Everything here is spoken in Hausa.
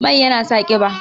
Mai yana sa ƙiba